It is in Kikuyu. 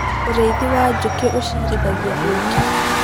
ũrĩithi wa njũkĩ ũciarithagia ũũkĩ